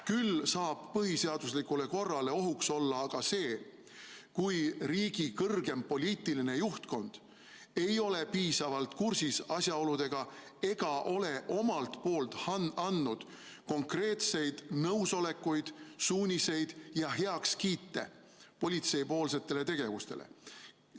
Küll saab põhiseaduslikule korrale ohuks olla see, kui riigi kõrgeim poliitiline juhtkond ei ole piisavalt asjaoludega kursis ega ole andnud konkreetseid nõusolekuid, suuniseid ja heakskiite politsei tegevusele.